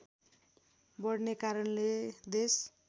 बढ्ने कारणले देश